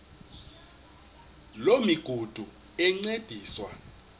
loo migudu encediswa